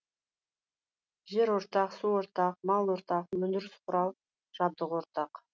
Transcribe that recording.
жер ортақ су ортақ мал ортақ өндіріс құрал жабдығы ортақ